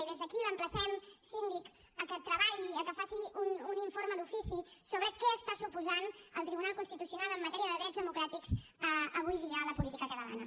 i des d’aquí l’emplacem síndic a que treballi a que faci un informe d’ofici sobre què està suposant el tribunal constitucional en matèria de drets democràtics avui dia a la política catalana